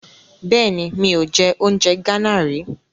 Bẹ́ẹ̀ni, mi ò jẹ oúnjẹ Gánà rí.